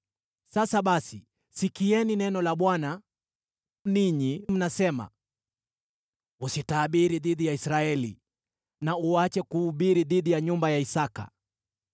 Sasa basi, sikieni neno la Bwana . Ninyi mnasema, “ ‘Usitabiri dhidi ya Israeli, na uache kuhubiri dhidi ya nyumba ya Isaki.’